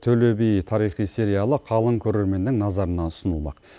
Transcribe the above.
төле би тарихи сериалы қалың көрерменнің назарына ұсынылмақ